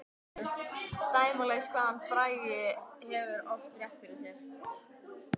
Dæmalaust hvað hann Bragi hefur oft rétt fyrir sér.